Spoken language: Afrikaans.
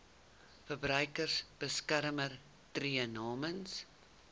verbruikersbeskermer tree namens